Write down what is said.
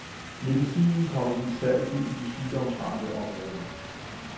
Medicinen kommes i saltet i de sygdomsramte områder.